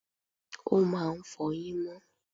o máà ń fọyín mo